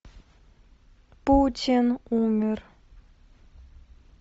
путин умер